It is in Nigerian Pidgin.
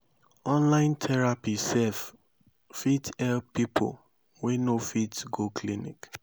online therapy sef fit help pipo wey no fit go clinic